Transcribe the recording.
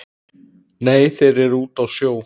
Nei þeir eru úti á sjó